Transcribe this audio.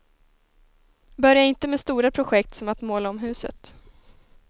Börja inte med stora projekt som att måla om huset.